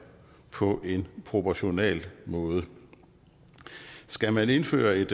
på en proportional måde skal man indføre et